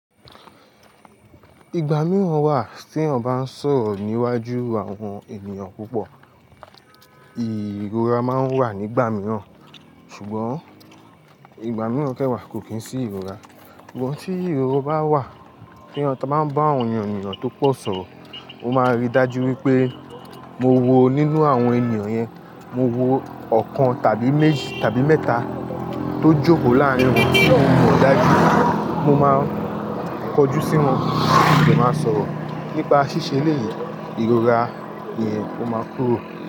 Ìgbà mìíràn wà tí èèyàn bá ń sọ̀rọ̀ níwájú àwọn ènìyàn púpọ̀. Ìrora máa ń wà nígbà mìíràn, ṣùgbọ́n ìgbà mìíràn kẹ́wàá kò kí ń sí ìrora. Ìwọ tí ìrora bá wà tí a bá ń bá àwọn ènìyàn tó pọ̀ sọ̀rọ̀, o máa rí dájú wípé mo wo nínú àwọn ènìyàn yẹn, mo wo ọ̀kan tàbí méjì tàbí mẹ́ta tó jòkó láàrín wọn tí mo mọ̀ dájú wípé mo máa kọjú sí wọn kí n dẹ máa sọ̀rọ̀ nípa ṣíṣe ilé yìí. Ìrora yẹn o máa kúrò.